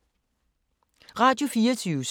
Radio24syv